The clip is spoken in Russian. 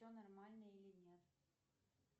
все нормально или нет